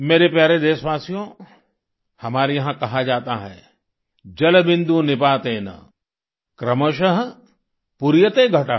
मेरे प्यारे देशवासियो हमारे यहाँ कहा जाता है जलबिंदु निपातेन क्रमशः पूर्यते घटः